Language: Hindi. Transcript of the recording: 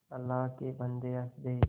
अल्लाह के बन्दे हंस दे